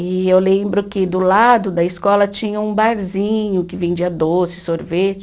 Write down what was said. E eu lembro que do lado da escola tinha um barzinho que vendia doce, sorvete.